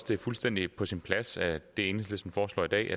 det er fuldstændig på sin plads hvad enhedslisten foreslår i dag